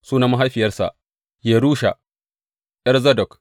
Sunan mahaifiyarsa Yerusha, ’yar Zadok.